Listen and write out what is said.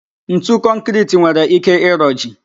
Ntu kọnkịriti nwere ike ịroji